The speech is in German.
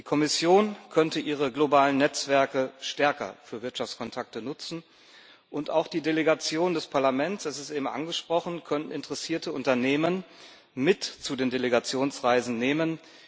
Die Kommission könnte ihre globalen Netzwerke stärker für Wirtschaftskontakte nutzen, und auch die Delegationen des Parlaments, das ist eben angesprochen worden, können interessierte Unternehmen mit zu den Delegationsreisen nehmen.